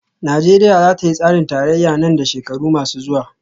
Najeriya za ta yi tsarin tarayya nan da shekaru masu zuwa